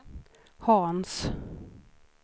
Hans